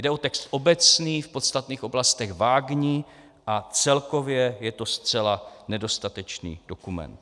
Jde o text obecný, v podstatných oblastech vágní a celkově je to zcela nedostatečný dokument.